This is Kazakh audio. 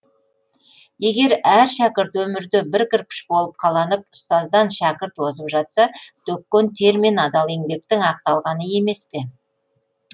егер әр шәкірт өмірде бір кірпіш болып қаланып ұстаздан шәкірт озып жатса төккен тер мен адал еңбектің ақталғаны емес пе